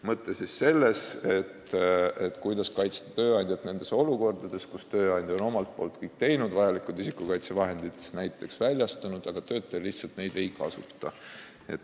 Mõte on selles, kuidas kaitsta tööandjat olukorras, kus tööandja on omalt poolt kõik teinud, näiteks vajalikud isikukaitsevahendid väljastanud, aga töötaja lihtsalt neid ei kasuta.